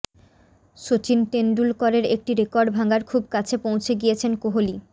সচিন তেন্ডুলকরের একটি রেকর্ড ভাঙার খুব কাছে পৌঁছে গিয়েছেন কোহলি